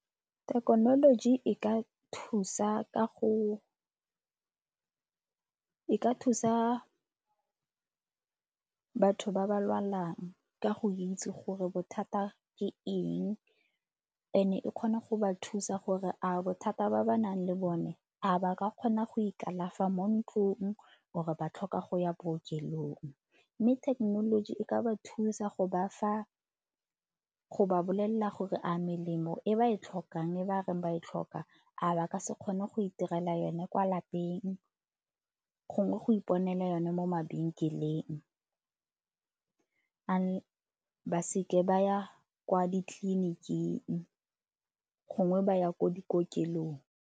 Thekenoloji e ka thusa ka go, e ka thusa batho ba ba lwalang ka go itse gore bothata ke eng and-e e kgona go ba thusa gore a bothata ba ba nang le bone a ba ka kgona go ikalafa mo ntlong or ba tlhoka go ya bookelong. Mme thekenoloji e ka ba thusa go ba fa, go ba bolelela gore a melemo e ba e tlhokang e ba reng ba e tlhoka a ba ka se kgone go itirela yone kwa lapeng gongwe go iponela yone mo mabenkeleng ba seke ba ya kwa ditleliniking gongwe ba ya ko dikokelong.